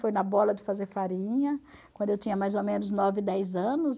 Foi na bola de fazer farinha, quando eu tinha mais ou menos nove, dez anos.